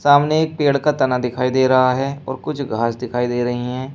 सामने एक पेड़ का तना दिखाई दे रहा है और कुछ घास दिखाई दे रही हैं।